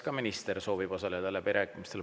Kas minister soovib osaleda läbirääkimistel?